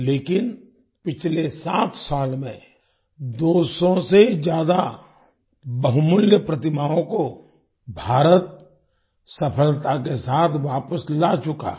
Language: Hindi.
लेकिन पिछले सात साल में 200 से ज्यादा बहुमूल्य प्रतिमाओं को भारत सफलता के साथ वापस ला चुका है